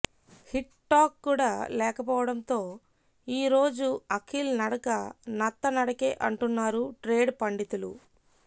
hit talk కుడా లేకపోవడంతో ఈ రోజు అఖిల్ నడక నత్త నడకే అంటున్నారు ట్రేడ్ పండితులు